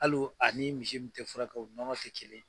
Hali ani misi min tɛ furakɛ o nɔnɔ tɛ kelen.